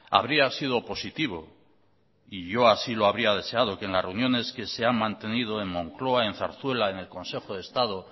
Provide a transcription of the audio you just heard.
habría sido positivo y yo así lo habría deseado que en las reuniones que se han mantenido en moncloa en zarzuela en el consejo de estado